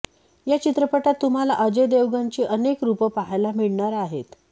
या चित्रपटात तुम्हाला अजय देवगणची अनेक रूपं पाहायला मिळणार आहेत